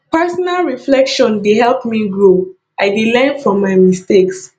personal reflection dey help me grow i dey learn from my mistakes